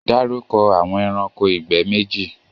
Darúkọ̀ awọn ẹ̀ránkò igbẹ̀ méjì!